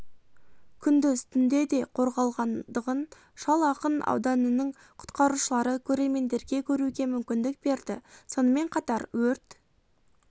күндіз түнде де қорғалғандығын шал ақын ауданының құтқарушылары көрермендерге көруге мүмкіндік берді сонымен қатар өрт